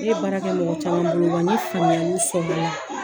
Ne ye baara kɛ mɔgɔ caman bolo wa n ye faamuyali sɔrɔ o la.